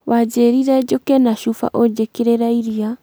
wanjĩrire njũke na cuba unjĩkĩrĩre iria